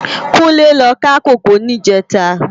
Kunle lò ká kókòó nijètá